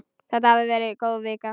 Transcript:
Þetta hafði verið góð vika.